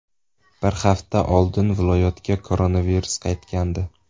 Bir hafta oldin viloyatga koronavirus qaytgandi .